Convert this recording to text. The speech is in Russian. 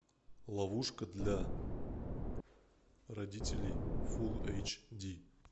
ловушка для родителей фул эйч ди